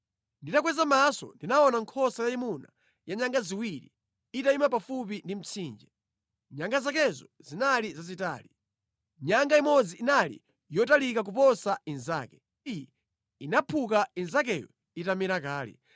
Nditakweza maso ndinaona nkhosa yayimuna ya nyanga ziwiri, itayima pafupi ndi mtsinje. Nyanga zakezo zinali zazitali. Nyanga imodzi inali yotalika kuposa inzake, ndipo iyi inaphuka inzakeyo itamera kale.